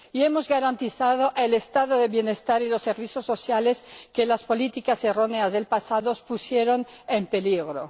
Y hemos garantizado el Estado del bienestar y los servicios sociales que las políticas erróneas del pasado pusieron en peligro.